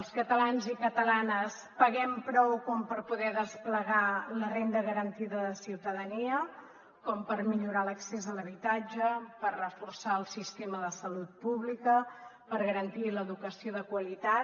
els catalans i catalanes paguem prou com per poder desplegar la renda garantida de ciutadania com per millorar l’accés a l’habitatge per reforçar el sistema de salut pública per garantir l’educació de qualitat